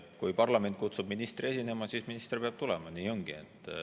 Kui parlament kutsub ministri esinema, siis minister peab tulema, nii ongi.